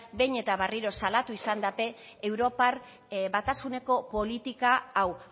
behin eta berriro salatu izan dute europar batasuneko politika hau